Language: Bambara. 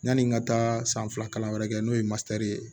Yani n ka taa san fila kalan wɛrɛ kɛ n'o ye ye